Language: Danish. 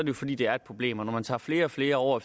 jo fordi det er et problem og når man tager flere og flere år